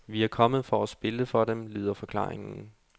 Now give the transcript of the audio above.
Vi er kommet for at spille for dem, lyder forklaringen.